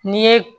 N'i ye